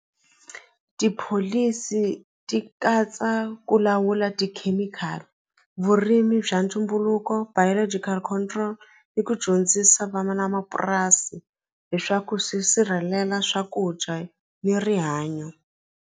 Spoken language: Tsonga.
Tipholisi ti katsa ku lawula tikhemikhali vurimi bya ntumbuluko biological control ni ku dyondzisa vana na mapurasi leswaku swi sirhelela swakudya ni rihanyo.